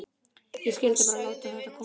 Ég skyldi bara láta þetta koma.